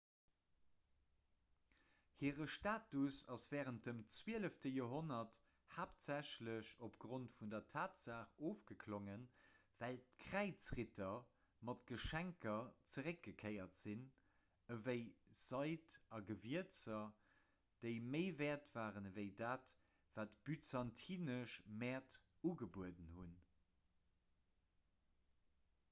hire status ass wärend dem zwielefte joerhonnert haaptsächlech opgrond vun der tatsaach ofgeklongen well d'kräizritter mat geschenker zeréckgekéiert sinn ewéi seid a gewierzer déi méi wäert waren ewéi dat wat byzantinesch mäert ugebueden hunn